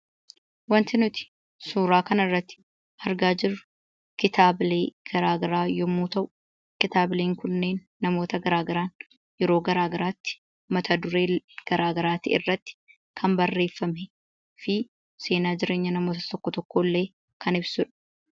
Wanti nuti suuraa kanarratti argaa jirru kitaabilee gara garaa yommuu ta'u kitaabileen kunniin namoota gara garaan yeroo gara garaatti mata duree gara garaa irratti kan barreeffamee fi seenaa jireenya namoota tokko tokkoo illee kan ibsudha.